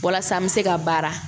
Walasa an bɛ se ka baara